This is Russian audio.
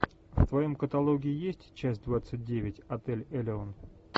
в твоем каталоге есть часть двадцать девять отель элеон